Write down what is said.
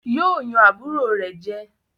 Yóò yàn àbúrò rẹ̀ jẹ